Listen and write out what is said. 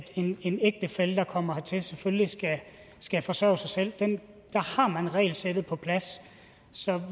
en ægtefælle der kommer hertil selvfølgelig skal forsørge sig selv der har man regelsættet på plads så